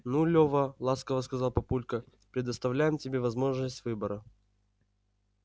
ну лёва ласково сказал папулька предоставляем тебе возможность выбора